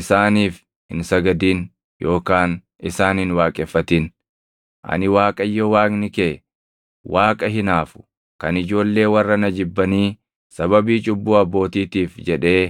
Isaaniif hin sagadin yookaan isaan hin waaqeffatin; ani Waaqayyo Waaqni kee, Waaqa hinaafu kan ijoollee warra na jibbanii sababii cubbuu abbootiitiif jedhee